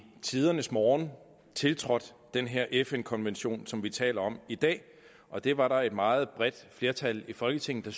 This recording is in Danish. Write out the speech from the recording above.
tidernes morgen tiltrådt den her fn konvention som vi taler om i dag og det var der et meget bredt flertal i folketinget der